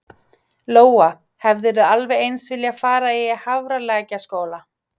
Lóa: Hefðirðu alveg eins viljað fara í Hafralækjarskóla?